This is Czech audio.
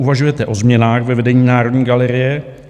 Uvažujete o změnách ve vedení Národní galerie?